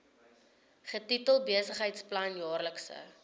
getitel besigheidsplan jaarlikse